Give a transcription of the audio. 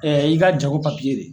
i ka jago de.